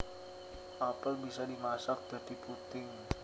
Apel bisa dimasak dadi puding